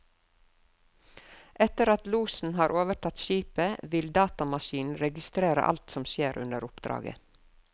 Etter at losen har overtatt skipet, vil datamaskinen registrere alt som skjer under oppdraget.